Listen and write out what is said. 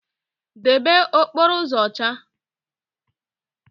Debe okporo uzo ocha